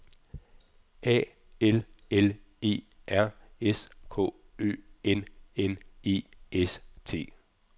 A L L E R S K Ø N N E S T